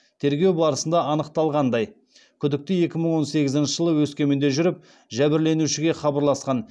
тергеу барысында анықталғандай күдікті екі мың он сегізінші жылы өскеменде жүріп жәбірленушіге хабарласқан